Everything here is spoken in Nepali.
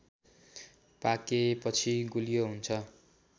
पाकेपछि गुलियो हुन्छ